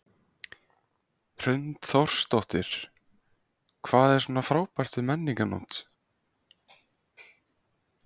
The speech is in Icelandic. Hrund Þórsdóttir: Hvað er svona frábært við Menningarnótt?